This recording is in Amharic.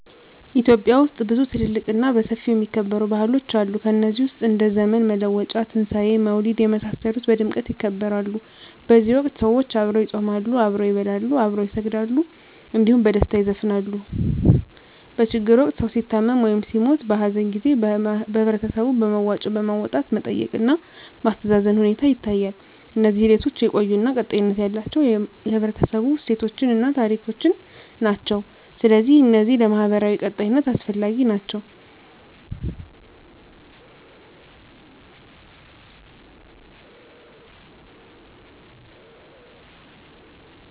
ኢትዮጵያ ውስጥ ብዙ ትልልቅ እና በሰፊው የሚከበሩ ባህሎች አሉ ከነዚህ ውስጥ እንደ ዘመን መለወጫ; ትንሣኤ; መውሊድ የመሳሰሉት በድምቀት ይከበራሉ በዚህ ወቅት ሰዎች አብረው ይጾማሉ፣ አብረው ይበላሉ፣ አብረው ይሰግዳሉ እንዲሁም በደስታ ይዘፍናሉ። በችግር ወቅት ሰዉ ሲታመም ወይም ሲሞት(በሀዘን) ጊዜ በህበረተሰቡ በመዋጮ በማዋጣት መጠየቅ እና ማስተዛዘን ሁኔታ ይታያል። እነዚህ ሂደቶች የቆዩ እና ቀጣይነት ያላቸው የህብረተሰቡ እሴቶችን እና ታሪኮችን ናቸው። ስለዚህ እነዚህ ለማህበራዊ ቀጣይነት አስፈላጊ ናቸው